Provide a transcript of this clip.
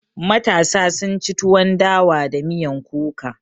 Matasa sun ci tuwon dawa da miyan kuka